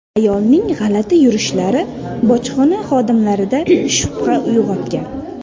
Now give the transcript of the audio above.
Ayolning g‘alati yurishlari bojxona xodimlarida shubha uyg‘otgan.